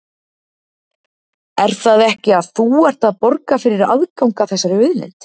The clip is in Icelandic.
Er það ekki að þú ert að borga fyrir aðgang að þessari auðlind?